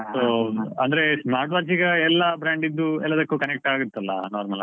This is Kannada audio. So ಅಂದ್ರೆ smart watch ಈಗ ಎಲ್ಲಾ brand ಇದ್ದು ಎಲ್ಲದಕ್ಕೂ connect ಆಗತ್ತಲ್ಲ normal ಆಗಿ.